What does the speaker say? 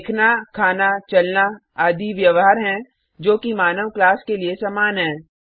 देखना खाना चलना आदि व्यवहार हैं जो कि मानव क्लास के लिए समान हैं